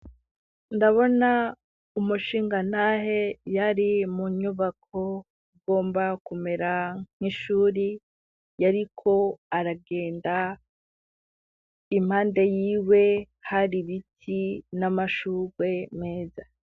Ndabona umushinganahe yari mu nyubako ugomba kumera nk'ishuri, yariko aragenda impande y'iwe har'ibiti n'amashurwe meza.